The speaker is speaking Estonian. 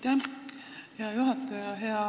Aitäh, hea juhataja!